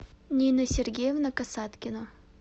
нина сергеевна касаткина